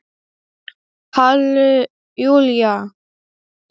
Halli Júlía!